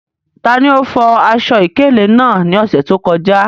Tani o fo aṣọ-ìkéle naa ni ọsẹ to kọja?